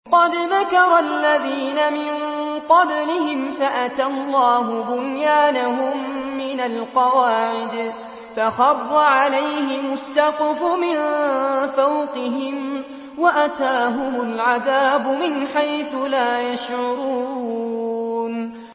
قَدْ مَكَرَ الَّذِينَ مِن قَبْلِهِمْ فَأَتَى اللَّهُ بُنْيَانَهُم مِّنَ الْقَوَاعِدِ فَخَرَّ عَلَيْهِمُ السَّقْفُ مِن فَوْقِهِمْ وَأَتَاهُمُ الْعَذَابُ مِنْ حَيْثُ لَا يَشْعُرُونَ